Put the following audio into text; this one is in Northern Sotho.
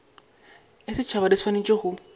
ya setšhaba di swanetše go